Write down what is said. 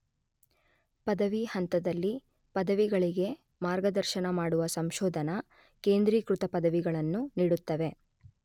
ಪದವಿ ಹಂತದಲ್ಲಿ ಪದವಿಗಳಿಗೆ ಮಾರ್ಗದರ್ಶನ ಮಾಡುವ ಸಂಶೋಧನಾ, ಕೇಂದ್ರೀಕೃತ ಪದವಿಗಳನ್ನು ನೀಡುತ್ತದೆ.